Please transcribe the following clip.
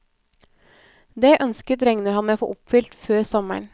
Det ønsket regner han med å få oppfylt før sommeren.